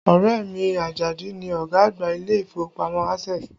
Ọrẹ mi, Ajadi ni ọ̀gá àgbà ilé ìfowópamọ́ Access